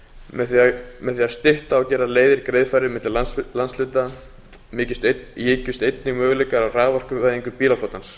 með því að stytta og gera leiðir greiðfærari milli landshluta ykjust möguleikar á raforkuvæðingu bílaflotans